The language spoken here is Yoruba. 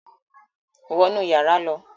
Wọ̀ nú yàrà ló!